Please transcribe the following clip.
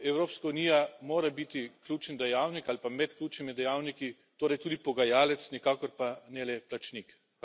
Evropska unija mora biti ključen dejavnik ali pa med ključnimi dejavniki, torej tudi pogajalec, nikakor pa ne le plačnik.